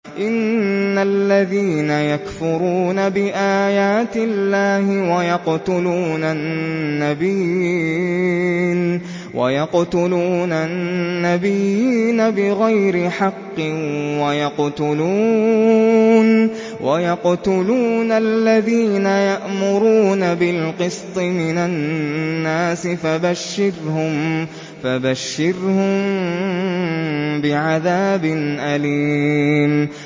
إِنَّ الَّذِينَ يَكْفُرُونَ بِآيَاتِ اللَّهِ وَيَقْتُلُونَ النَّبِيِّينَ بِغَيْرِ حَقٍّ وَيَقْتُلُونَ الَّذِينَ يَأْمُرُونَ بِالْقِسْطِ مِنَ النَّاسِ فَبَشِّرْهُم بِعَذَابٍ أَلِيمٍ